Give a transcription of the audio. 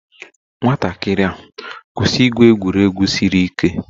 Nwatakịrị a kwụsịrị igwu egwuregwu siri ike